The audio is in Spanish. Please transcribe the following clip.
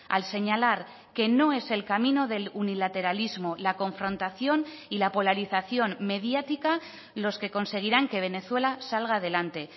al señalar que no es el camino del unilateralismo la confrontación y la polarización mediática los que conseguirán que venezuela salga adelante